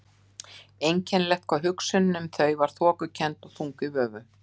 Einkennilegt hvað hugsunin um þau var þokukennd og þung í vöfum.